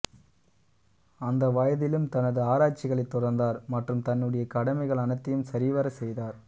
அந்த வயதிலும் தனது ஆராய்ச்சிகளை தொடர்ந்தார் மற்றும் தன்னுடைய கடமைகள் அனைத்தையும் சரிவர செய்தார்